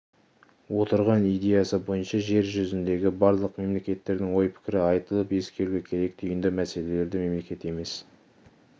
отырған идеясы бойынша жер жүзіндегі барлық мемлекеттердің ой-пікірі айтылып ескерілуі керек түйінді мәселелерді мемлекет емес